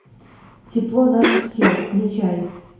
тепло наших тел включай